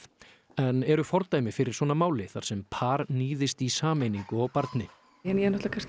en eru fordæmi fyrir svona máli þar sem par níðist í sameiningu á barni ég náttúrulega